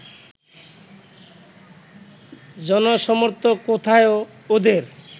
জনসমর্থন কোথায় ওদের